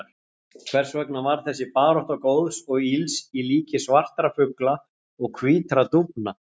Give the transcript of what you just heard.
Hvers vegna var þessi barátta góðs og ills í líki svartra fugla og hvítra dúfna?